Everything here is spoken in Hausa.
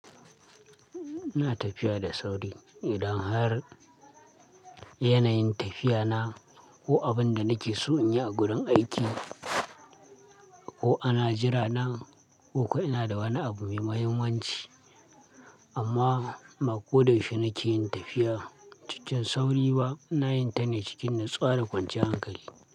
Ina tafiya da sauri idan har yanayin tafiyana ko abin da nake so in yi a wurin aiki ko ana jira na ko ina da wani abu mai mahimmanci. Amma ba ko da fim nake yin tafiya, cikin sauri ba ina yin ta ne cikin natsuwa da kwanciyar hankali.